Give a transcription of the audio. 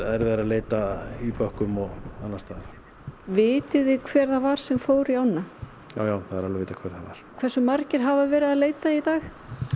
erfiðara að leita í bökkum og annars staðar vitið þið hver það var sem fór í ána jájá það er alveg vitað hver það var hversu margir hafa verið að leita í dag